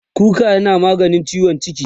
kuka yana maganin ciwon ciki